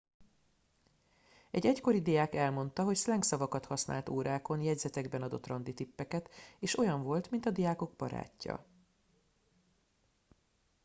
egy egykori diák elmondta hogy szlengszavakat használt órákon jegyzetekben adott randitippeket és olyan volt mint a diákok barátja